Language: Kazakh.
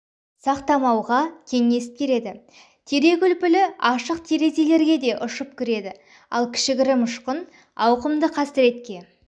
сақтамауға кеңес береді терек үлпілі ашық терезелерге де ұшып кіреді ал кішігірім ұшқын ауқымды қасіретке